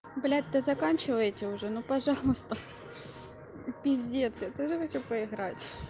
блять да заканчивайте уже ну пожалуйста пиздец я тоже хочу поиграть